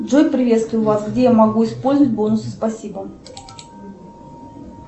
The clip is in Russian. джой приветствую вас где я могу использовать бонусы спасибо